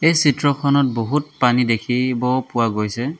এই চিত্ৰখনত বহুত পানী দেখি-ব পোৱা গৈছে।